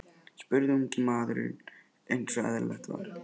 spurði ungi maðurinn eins og eðlilegt var.